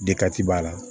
b'a la